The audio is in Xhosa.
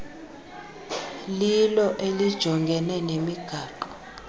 lilo elijongene nemigaqo